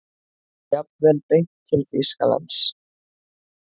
Jafnvel beint til Þýskalands.